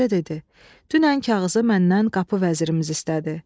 Qoca dedi: "Dünən kağızı məndən qapı vəzirimiz istədi.